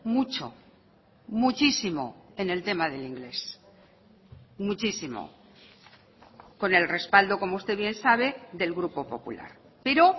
mucho muchísimo en el tema del inglés muchísimo con el respaldo como usted bien sabe del grupo popular pero